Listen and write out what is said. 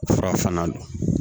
Fura fana don